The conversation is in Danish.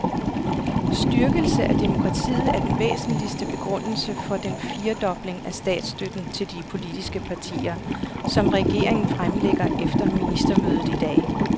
Styrkelse af demokratiet er den væsentligste begrundelse for den firedobling af statsstøtten til de politiske partier, som regeringen fremlægger efter ministermødet i dag.